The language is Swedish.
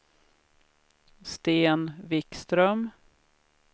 Sten Vikström